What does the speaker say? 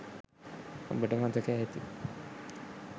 ඔබට මතක ඇති.